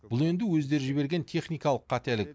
бұл енді өздері жіберген техникалық қателік